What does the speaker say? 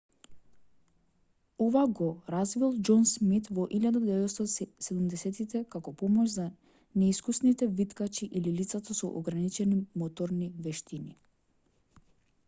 ова го развил џон смит во 1970-тите како помош за неискусните виткачи или лицата со ограничени моторни вештини